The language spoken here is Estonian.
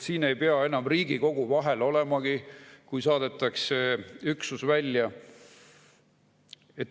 Enam ei pea Riigikogu vahel olemagi, kui saadetakse üksus välja.